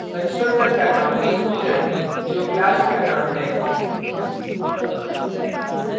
constructor का name student जो class का name है